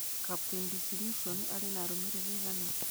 Captain Disillusion arĩ na arumiriri aigana